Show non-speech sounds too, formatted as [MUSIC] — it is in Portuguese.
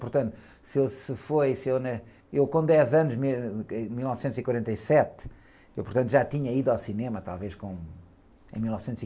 Portanto, se eu, se foi, se eu, né? ... Eu, com dez anos, em mil, [UNINTELLIGIBLE] em mil novecentos e quarenta e sete, eu, portanto, já tinha ido ao cinema, talvez, com, em em mil novecentos e...